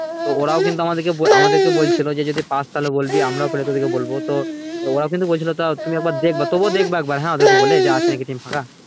ওরাও কিন্তু আমাদের কে আমাদেরকে বলছিলো যে পাস তাহেল বলবি আমরাও তাহেল তোদেরকে বলবো তো ওরাও কিন্তু বলছিলো আমাদের তো তুমি একবার দেখবা তুবুও দেখবা একবার হ্যাঁ ওদেরকে বলে আছে নাকি team ফাঁকা